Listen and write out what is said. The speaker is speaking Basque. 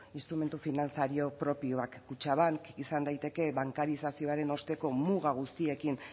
finantziario propioak kutxabank izan daiteke bankarizazioaren osteko muga guztiekin